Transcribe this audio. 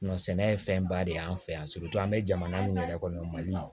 sɛnɛ ye fɛnba de y'an fɛ yan an bɛ jamana min yɛrɛ kɔnɔ mali